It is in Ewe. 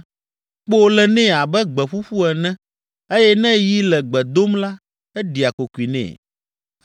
Kpo le nɛ abe gbe ƒuƒu ene eye ne yi le gbe dom la, eɖia kokoe nɛ.